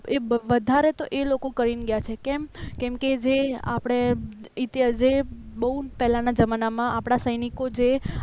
એ વધારે તો એ લોકો કરીને ગયા છે કેમ કેમ કે જે આપણે ઇતિહાસ જે બહુ પહેલા ના જમાનામાં આપણા સૈનિકો જે